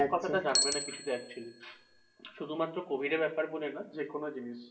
কথাটা জানবে না শুধুমাত্র covid এর ব্যাপার বলে না যেকোনো জিনিস।